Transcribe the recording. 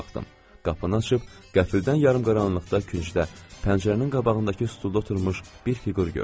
Qapını açıb qəfildən yarımqaranlıqda küncdə pəncərənin qabağındakı stulda oturmuş bir fiqur gördüm.